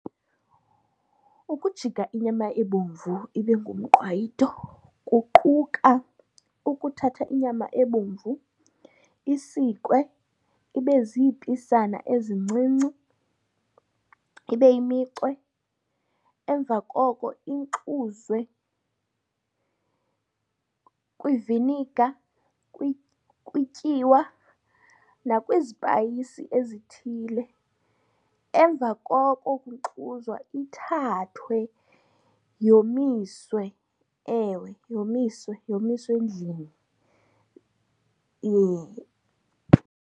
Ukujika inyama ebomvu ibe ngumqwayito kuquka ukuthatha inyama ebomvu isikwe ibe ziipisana ezincinci, ibe yimicwe. Emva koko inkxuzwe kwiviniga, kwityiwa nakwizipayisi ezithile. Emva koko kunkxuzwa ithathwe yomiswe. Ewe yomiswe, yomiswe endlini .